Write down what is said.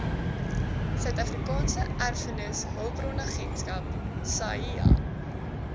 suidafrikaanse erfenishulpbronagentskap saeha